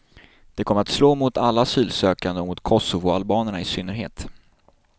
Det kommer att slå mot alla asylsökande och mot kosovoalbanerna i synnerhet.